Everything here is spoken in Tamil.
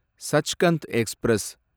சச்கந்த் எக்ஸ்பிரஸ்